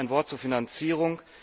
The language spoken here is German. Noch ein Wort zur Finanzierung.